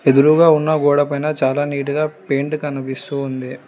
ఎదురుగా ఉన్న గోడ పైన చాలా నీట్ గా పెయింట్ కనిపిస్తూ ఉంది.